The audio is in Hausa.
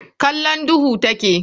Kallon duhu take.